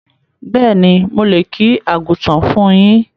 Béèni, mo lè kí Àgùntàn fún yín